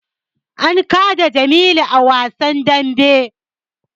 An kada jamilu a wasan dambe